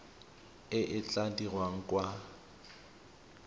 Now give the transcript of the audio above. e e tla dirwang kwa